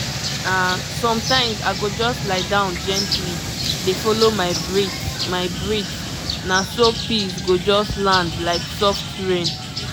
ah sometimes i go just lie down gently dey follow my breath my breath na so peace go just land like soft rain.